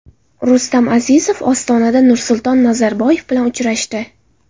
Rustam Azimov Ostonada Nursulton Nazarboyev bilan uchrashdi.